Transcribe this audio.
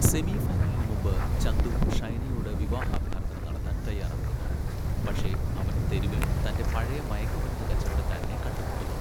സെമിഫൈനലിന് മുമ്പ്, ചന്തു ഷൈനയോട് വിവാഹാഭ്യർത്ഥന നടത്താൻ തയ്യാറെടുക്കുന്നു, പക്ഷേ അവൻ തെരുവിൽ തന്റെ പഴയ മയക്കുമരുന്ന് കച്ചവടക്കാരനെ കണ്ടുമുട്ടുന്നു.